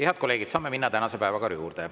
Head kolleegid, saame minna tänase päevakorra juurde.